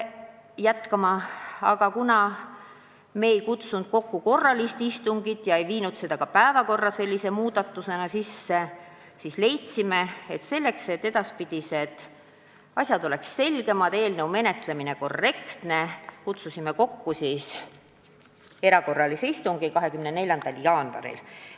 Kuna me aga ei kutsunud kokku erakorralist istungit ega teinud ka muudatusi päevakorras, siis leidsime: selleks, et edaspidi oleksid asjad selgemad ja eelnõu menetlemine korrektne, kutsume kokku erakorralise istungi 24. jaanuaril.